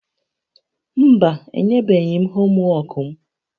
Mba, enyebeghị m homwọọkụ m